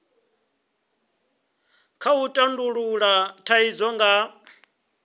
kha u tandulula thaidzo nga